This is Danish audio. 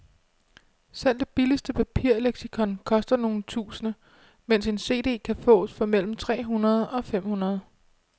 Selv det billigste papirleksikon koster nogle tusinde, mens en cd kan fås for mellem tre hundrede og fem hundrede.